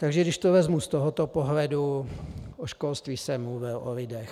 Takže když to vezmu z tohoto pohledu - o školství jsem mluvil, o lidech.